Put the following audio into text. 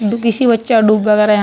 do किसी बच्चा डूब वगैरा यहाँ --